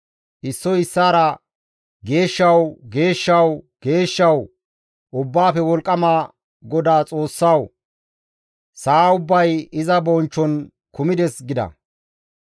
Issoy issaara, «Geeshshawu, geeshshawu, geeshshawu Ubbaafe Wolqqama GODAA Xoossawu! Sa7a ubbay iza bonchchon kumides» gida.